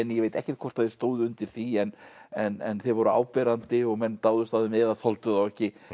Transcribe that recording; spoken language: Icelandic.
ég veit ekkert hvort þeir stóðu undir því en en þeir voru áberandi og menn dáðust að þeim eða þoldu þá ekki